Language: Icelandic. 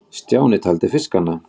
Stjáni taldi fiskana.